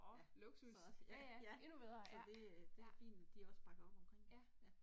Ja, så, ja ja. Så det det fint at de også bakker op omkring det ja